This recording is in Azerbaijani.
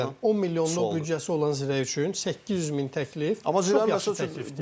Məsələn, 10 milyonluq büdcəsi olan Zirə üçün 800 min təklif çox yaxşı təklifdir.